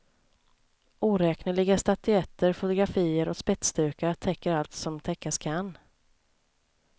Oräkneliga statyetter, fotografier och spetsdukar täcker allt som täckas kan.